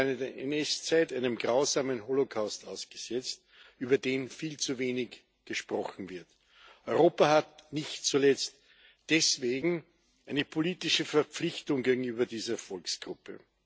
Sie waren während der NS Zeit einem grausamen Holocaust ausgesetzt, über den viel zu wenig gesprochen wird. Europa hat nicht zuletzt deswegen eine politische Verpflichtung gegenüber dieser Volksgruppe.